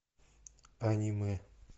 аниме